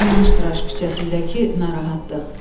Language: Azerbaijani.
Sumaş küçəsindəki narahatlıq.